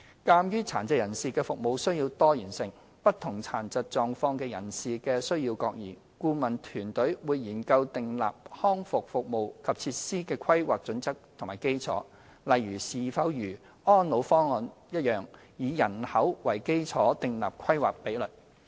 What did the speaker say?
鑒於殘疾人士的服務需要多元性，不同殘疾狀況的人士的需要各異，顧問團隊會研究訂立康復服務及設施的規劃準則及基礎，例如是否如《安老方案》般以人口為基礎設立規劃比率。